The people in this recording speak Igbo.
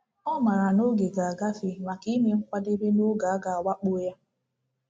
Ọ maara na oge ga-agafe maka ime nkwadebe n’oge a ga-awakpo ya.